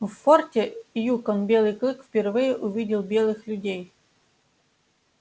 в форте юкон белый клык впервые увидел белых людей